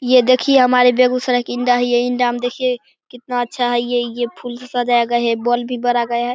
ये देखिए हमारे बेगुसराय के इंदा है ये इंदा में देखिए कितना अच्छा है ये ये फूल से सजाया गया हैं एक बोल भी बड़ा गया हैं।